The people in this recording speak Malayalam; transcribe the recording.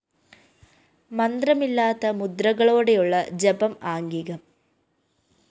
മന്ത്രമില്ലാത്ത മുദ്രകളോടെയുള്ള ജപം ആംഗികം